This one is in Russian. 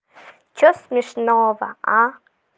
что смешного а